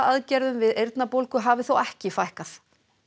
aðgerðum við eyrnabólgu hafi þó ekki fækkað